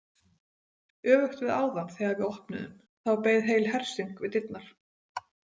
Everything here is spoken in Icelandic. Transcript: Öfugt við áðan þegar við opnuðum, þá beið heil hersing við dyrnar.